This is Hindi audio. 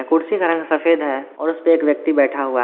कुर्सी का रंग सफेद है और उसपे एक व्यक्ति बैठा हुआ --